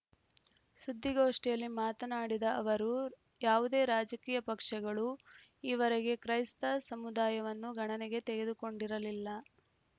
ಸುದ್ದಿಗೋಷ್ಠಿಯಲ್ಲಿ ಮಾತನಾಡಿದ ಅವರು ಯಾವುದೇ ರಾಜಕೀಯ ಪಕ್ಷಗಳೂ ಈವರೆಗೆ ಕ್ರೈಸ್ತ ಸಮುದಾಯವನ್ನು ಗಣನೆಗೆ ತೆಗೆದುಕೊಂಡಿರಲಿಲ್ಲ